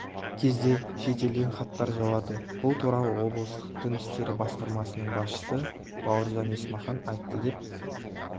кезде шетелден хаттар жауады бұл туралы облыстық дін істері басқармасының басшысы бауыржан есмахан айтты деп